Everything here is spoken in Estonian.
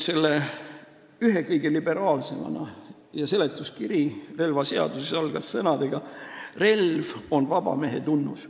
Selle relvaseaduse seletuskiri algas sõnadega: "Relv on vaba mehe tunnus.